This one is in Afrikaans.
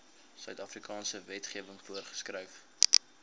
suidafrikaanse wetgewing voorgeskryf